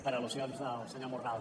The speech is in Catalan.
per al·lusions del senyor morral